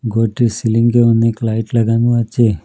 ঘরটির সিলিঙ্গে অনেক লাইট লাগানো আছে।